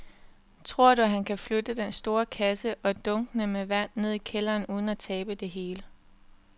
Tror du, at han kan flytte den store kasse og dunkene med vand ned i kælderen uden at tabe det hele?